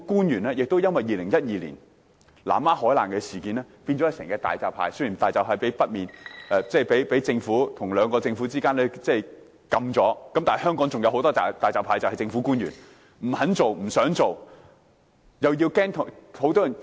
而且，因為2012年的南丫海難事件，政府官員都變成"大閘蟹"一樣——雖然大閘蟹被兩個政府禁制了，但香港還有很多"大閘蟹"，便是政府官員——他們不肯做、不想做，又怕要交代。